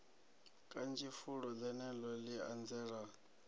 kanzhi fulo ḽeneḽo ḽi anzela